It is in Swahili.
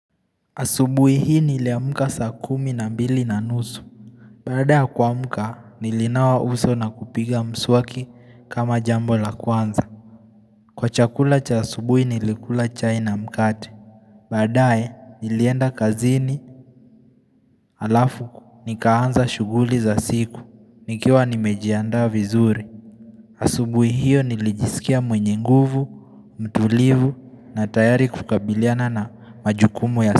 Asubuhi hii niliamka saa kumi na mbili na nusu. Baada ya kuamka nilinawa uso na kupiga mswaki kama jambo la kwanza. Kwa chakula cha asubuhi nilikula chai na mkate. Badae nilienda kazini alafu nikaanza shughuli za siku. Nikiwa nimejianda vizuri. Asubuhi hiyo nilijisikia mwenye nguvu, mtulivu na tayari kukabiliana na majukumu ya siku.